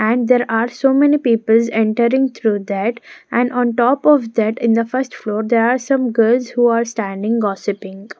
and there are so many peoples entering through that and on top of that in the first floor there are some girls who are standing gossiping.